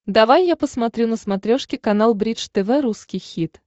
давай я посмотрю на смотрешке канал бридж тв русский хит